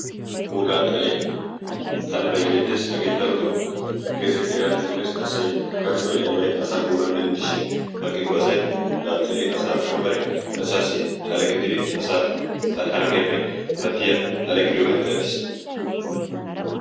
wogaa xalee talibai beettees hagee daroto geze hirani mokees asay karshoi aybay asa guuran denddishin baqqikko asai daaxxiri asa ushsho bare asaassi xala gidiri asaa harggiyaappe pattiya xale gidiyoogan erattiis